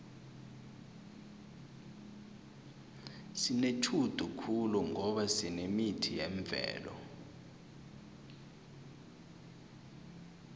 sinetjhudu khulu ngoba sinemithi yemvelo